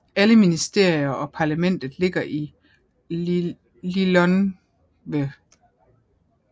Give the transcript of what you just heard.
Alle ministerier og parlamentet ligger i Lilongwe